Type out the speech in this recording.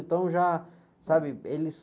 Então já, sabe, eles...